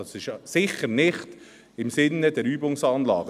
Dies ist sicher nicht im Sinne der Übungsanlage.